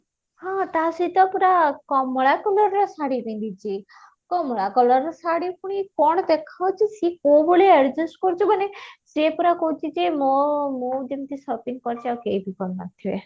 ହଁ ତା ସହିତ ପୁରା କମଳା colour ର ଶାଢୀ ପିନ୍ଧିଛି କମଳା colour ର ଶାଢୀ ପୁଣି କଣ ଦେଖଉଛି ସେ କୋଉ ଭଳିଆ adjust କରୁଛି ମାନେ ସେ ପୁରା କହୁଛି ଯେ ମୋ ମୁଁ ଯେମିତି shopping କରିଛି ଆଉ କେହି ବି କରିନଥିବେ